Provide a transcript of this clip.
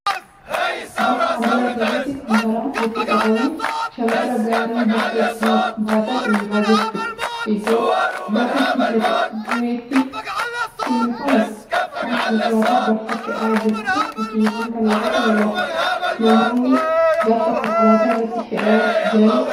Balfa mandara keessatti kuntaalaan walitti qabame, shamarra gaarii balfa ittiin baatan dhiibaa jirtu, iddoo balfi itti cimmifamu fi konkolaataa balfa fe'aa jirutu fakkiiwwan kana irraa mul'ata. Namoonni balfa konkolaataa irratti fe'aa jiranis jiru.